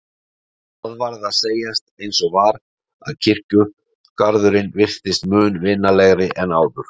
Það varð að segjast eins og var að kirkjugarðurinn virtist mun vinalegri en áður.